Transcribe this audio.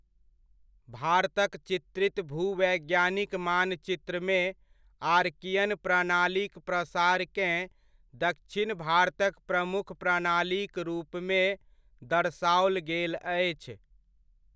भारतक चित्रित भूवैज्ञानिक मानचित्रमे आर्कियन प्रणालीक प्रसारकेँ दक्षिण भारतक प्रमुख प्रणालीक रूपमे दर्शाओल गेल अछि।